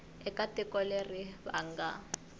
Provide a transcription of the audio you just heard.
eka tiko leri va nga